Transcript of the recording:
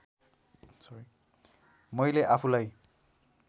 मैले आफूलाई